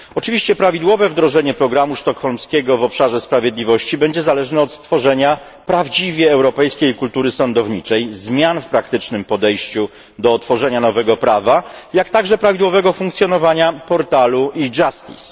Oczywiście prawidłowe wdrożenie programu sztokholmskiego w obszarze sprawiedliwości będzie zależne od stworzenia prawdziwie europejskiej kultury sądowniczej, zmian w praktycznym podejściu do tworzenia nowego prawa, a także prawidłowego funkcjonowania portalu e Justice.